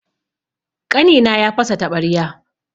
Ƙanina ya fasa taɓarya.